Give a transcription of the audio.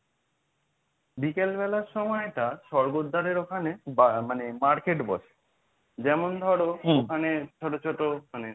বিকেল বেলার সময়টা স্বর্গদ্বারের ওখানে বা মানে market বসে যেমন ধরো ওখানে ছোট ছোট মানে